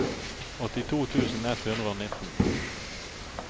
åttito tusen ett hundre og nitten